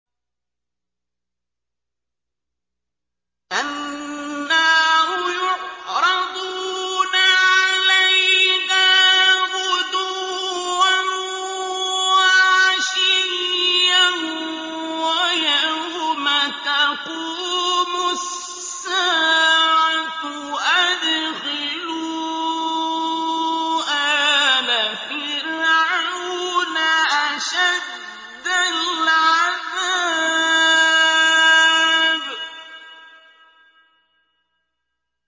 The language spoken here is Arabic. النَّارُ يُعْرَضُونَ عَلَيْهَا غُدُوًّا وَعَشِيًّا ۖ وَيَوْمَ تَقُومُ السَّاعَةُ أَدْخِلُوا آلَ فِرْعَوْنَ أَشَدَّ الْعَذَابِ